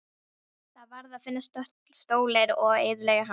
Það varð að finna stólinn og eyðileggja hann.